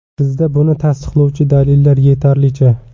Bizda buni tasdiqlovchi dalillar yetarlicha.